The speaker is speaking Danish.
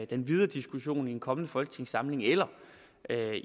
den videre diskussion i en kommende folketingssamling eller